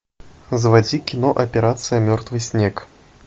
заводи кино операция мертвый снег